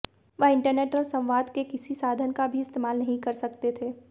वह इंटरनेट और संवाद के किसी साधन का भी इस्तेमाल नहीं कर सकते थे